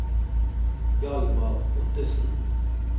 Hjalmar Ottesen